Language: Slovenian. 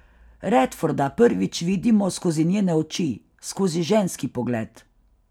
Redforda prvič vidimo skozi njene oči, skozi ženski pogled.